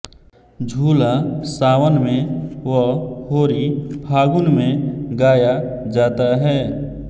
झूला सावन में व होरी फाल्गुन में गाया जाता है